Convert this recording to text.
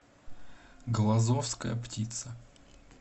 глазовская птица